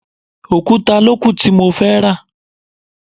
Òkúta ló kù tí mo fẹ́ rà.